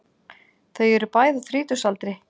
Þau eru bæði á þrítugsaldri